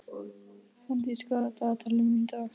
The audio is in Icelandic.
Fanndís, hvað er á dagatalinu mínu í dag?